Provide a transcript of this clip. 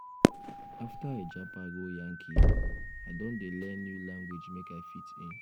after i japa go yankee i don dey learn new language make i fit in.